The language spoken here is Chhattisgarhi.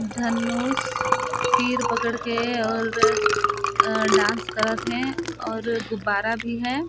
धनुष तीर पकड़ के और अ डांस करत है और गुब्बारा भी हैं।